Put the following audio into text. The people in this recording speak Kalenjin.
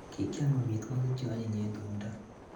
Kikiam amitwogik che anyiny eng tumto